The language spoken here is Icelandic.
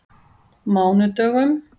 mánudögum